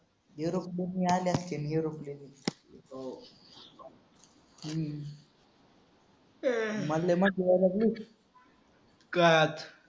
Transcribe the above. निरोप घेऊन आले असतील निरोप घेऊन.